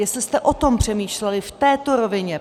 Jestli jste o tom přemýšleli v této rovině.